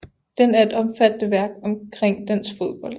Den er et omfattende værk omkring dansk fodbold